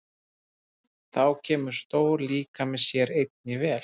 Þá kemur stór líkami sér einnig vel.